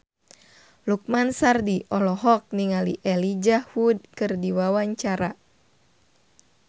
Lukman Sardi olohok ningali Elijah Wood keur diwawancara